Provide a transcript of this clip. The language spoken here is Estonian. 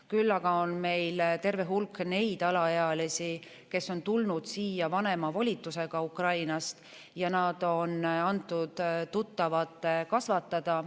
Küll aga on meil terve hulk neid alaealisi, kes on tulnud siia vanema volitusega Ukrainast, ja nad on antud tuttavate kasvatada.